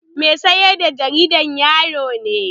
Mai sayar da jaridan yaro ne.